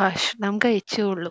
ഭക്ഷണം കഴിചുയുള്ളൂ.